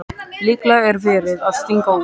Líklega er verið að stinga út.